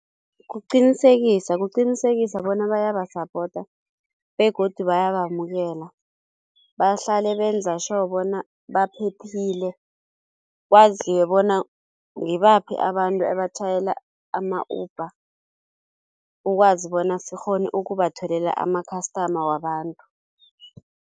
Kuqinisekisa kuqinisekisa bona bayaba-supporter begodu bayabamukela bahlale benza-sure bona baphephile. Kwaziwe bona ngibaphi abantu ebatjhayela ama-Uber ukwazi bona sikghone ukubatholela ama-customer wabantu.